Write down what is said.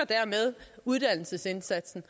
uddannelsesindsatsen